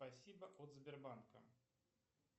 спасибо от сбербанка